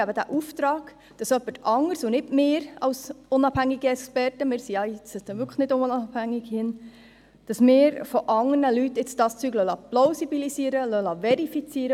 Wir geben diesen Auftrag, damit jemand anderes und nicht wir als unabhängige Experten – unabhängig sind wir hier wirklich nicht – die Zahlen plausibilisiert und verifiziert.